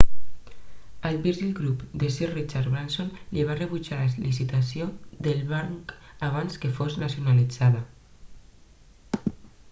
al virgin group de sir richard branson li van rebutjar la licitació del banc abans que fos nacionalitzat